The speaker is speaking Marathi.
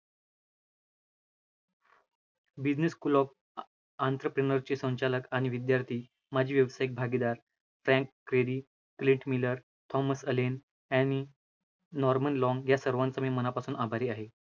Business clock a entrepreneur ची संचालक आणि विद्यार्थी, माझी व्यावसायिक भागीदार Frank Kelvie, Greta Miller, Thomas Allen, Annie, Norman Long या सर्वांचा मी मनापासून आभारी आहे.